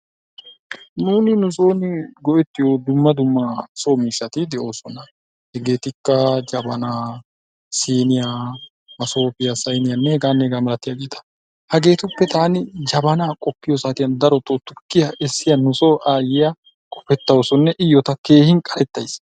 Nuuni nu sooni go'ettiyo dumma dumma so miishshati de'oosona. hegeetikka ;jabanaa, siiniya, massoofiya, sayniyanne hegaanne hegaa malatiyageeta. Hageetuppe taani jabanaa qoppiyo saatiyan darotoo tukkiya essiya nusoo aayyiya qofettawusunne iyyo taan keehi qarettays.